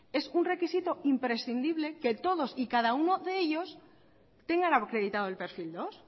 es un requisito imprescindible que todos y cada uno de ellos tengan acreditado el perfil dos